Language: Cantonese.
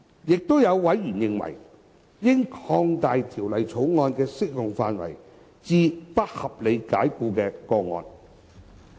亦有委員認為，應擴大《條例草案》的適用範圍至不合理解僱的個案。